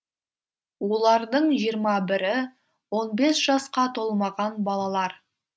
олардың жиырма бірі он бес жасқа толмаған балалар